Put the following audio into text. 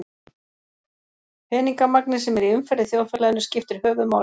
peningamagnið sem er í umferð í þjóðfélaginu skiptir höfuðmáli